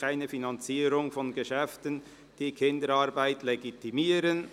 Keine Finanzierung von Geschäften, die Kinderarbeit legitimieren.